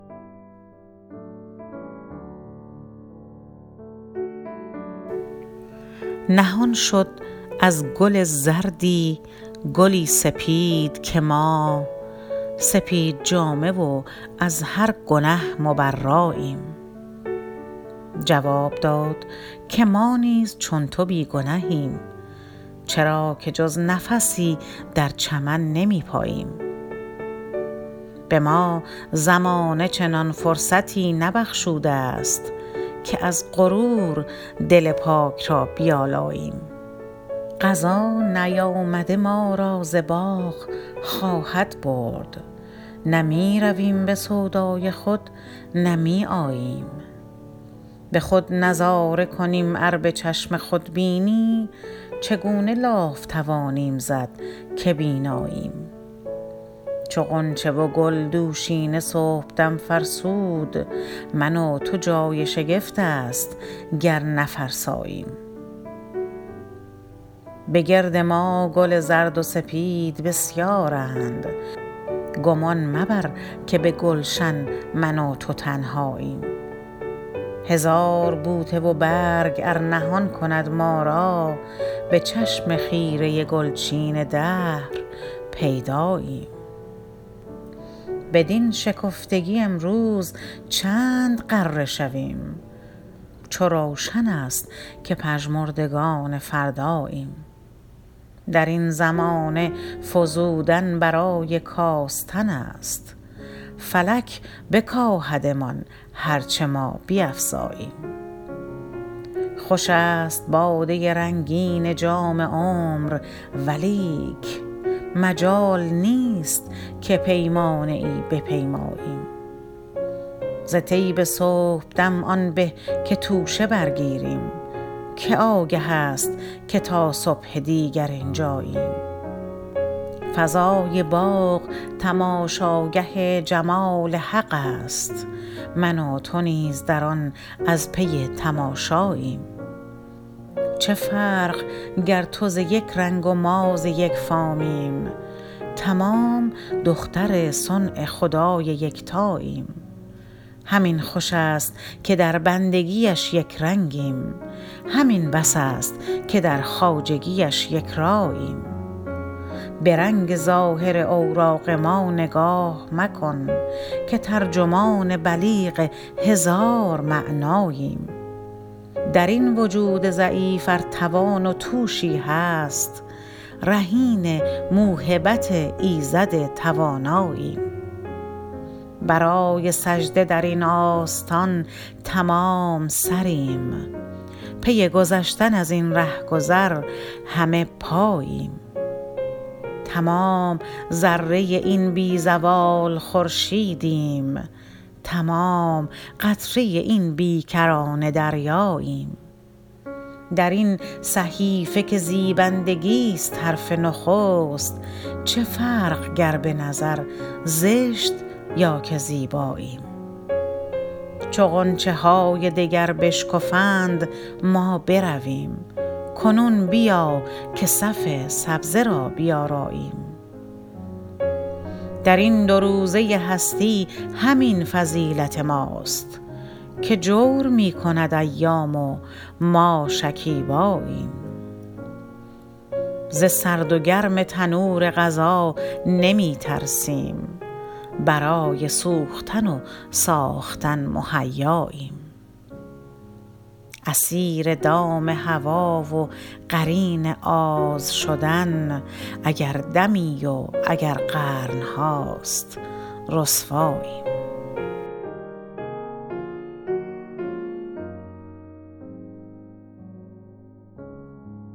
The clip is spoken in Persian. نهان شد از گل زردی گلی سپید که ما سپید جامه و از هر گنه مبراییم جواب داد که ما نیز چون تو بی گنهیم چرا که جز نفسی در چمن نمیپاییم بما زمانه چنان فرصتی نبخشوده است که از غرور دل پاک را بیالاییم قضا نیامده ما را ز باغ خواهد برد نه میرویم بسودای خود نه می آییم بخود نظاره کنیم ار بچشم خودبینی چگونه لاف توانیم زد که بیناییم چو غنچه و گل دوشینه صبحدم فرسود من و تو جای شگفت است گر نفرساییم بگرد ما گل زرد و سپید بسیارند گمان مبر که بگلشن من و تو تنهاییم هزار بوته و برگ ار نهان کند ما را به چشم خیره گلچین دهر پیداییم بدین شکفتگی امروز چند غره شویم چو روشن است که پژمردگان فرداییم درین زمانه فزودن برای کاستن است فلک بکاهدمان هر چه ما بیفزاییم خوش است باده رنگین جام عمر ولیک مجال نیست که پیمانه ای بپیماییم ز طیب صبحدم آن به که توشه برگیریم که آگه است که تا صبح دیگر اینجاییم فضای باغ تماشاگه جمال حق است من و تو نیز در آن از پی تماشاییم چه فرق گر تو ز یک رنگ و ما ز یک فامیم تمام دختر صنع خدای یکتاییم همین خوش است که در بندگیش یکرنگیم همین بس است که در خواجگیش یکراییم برنگ ظاهر اوراق ما نگاه مکن که ترجمان بلیغ هزار معناییم درین وجود ضعیف ار توان و توشی هست رهین موهبت ایزد تواناییم برای سجده درین آستان تمام سریم پی گذشتن ازین رهگذر همه پاییم تمام ذره این بی زوال خورشیدیم تمام قطره این بی کرانه دریاییم درین صحیفه که زیبندگیست حرف نخست چه فرق گر بنظر زشت یا که زیباییم چو غنچه های دگر بشکفند ما برویم کنون بیا که صف سبزه را بیاراییم درین دو روزه هستی همین فضیلت ماست که جور میکند ایام و ما شکیباییم ز سرد و گرم تنور قضا نمیترسیم برای سوختن و ساختن مهیاییم اسیر دام هوی و قرین آز شدن اگر دمی و اگر قرنهاست رسواییم